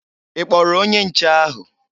Ị kpọrọ onye nche ahụ?